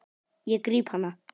Ég gríp hana.